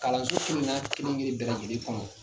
Kalanso kelen kelen bɛɛ lajɛlen kɔnɔ.